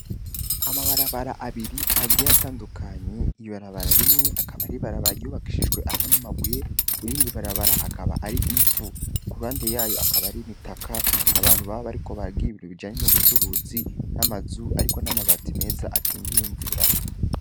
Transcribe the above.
Amabarabara abiri agiye atandukanye, ibarabara rimwe, Akabari Barabara ryubakishijwe amabuye irindi ibarabara akaba Ari ivu, kuruhande yaho, Akabari imitaka abantu barikobagira ibintu bijanye n'ubucuruzi, N'amazu ariko n''amabati meza akingiye Imvura.